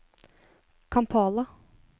Kampala